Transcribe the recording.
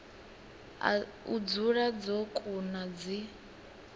u dzula dzo kuna dzi